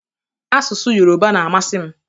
Asụsụ yoroba na-amasị m.